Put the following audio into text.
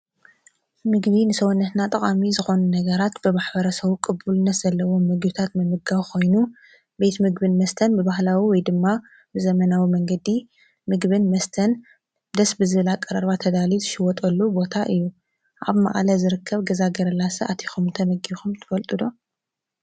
ምግቢ ንስወነትና ጠቓሚ ዝኾኑ ነገራት ብማኅበረ ሰቡ ቅቡልነት ዘለዎም መጊሁታት ምምጋዊ ኾይኑ ቤት ምግብን መስተን ብባህላዊ ወይ ድማ ብዘመናዊ መንገዲ ምግብን መስተን ደስብ ዝላ ቀረርባ ተዳልዩ ትሽወጠሉ ቦታ እዩ ኣብ መዓለ ዝርከብ ገዛገረላሰ ኣቲኹም ተመጊኹም ትፈልጡዶ?